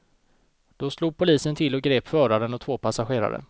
Då slog polisen till och grep föraren och två passagerare.